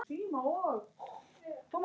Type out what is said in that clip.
Þetta er mikil saga!